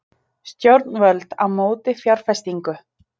Stjórnvöld á móti fjárfestingu